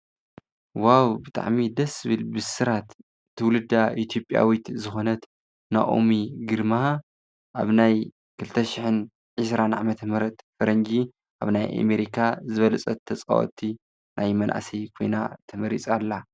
ዋው! ብጣዕሚ ደስ ዝብል ብስራት ትውልዳ ኢ/ያዊት ዝኮነት ናኦሚ ግርማ ኣብ ናይ 2020 ዓ/ም ፈረንጂ ኣብ ናይ ኤሜሪካ ዝበለፀት ተፃወቲ መናእሰይ ናይ ኮይና ተመሪፃ ኣላ፡፡